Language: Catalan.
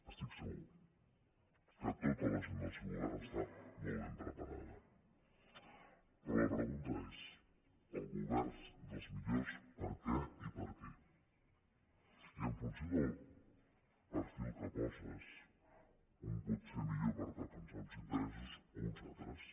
estic segur que tota la gent del seu govern està molt ben preparada però la pregunta és el govern dels millors per què i per a qui i en funció del perfil que poses un pot ser millor per defensar uns interessos o uns altres